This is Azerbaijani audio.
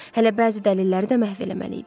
Hələ bəzi dəlilləri də məhv eləməli idi.